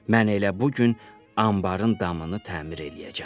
Mən elə bu gün anbarın damını təmir eləyəcəm.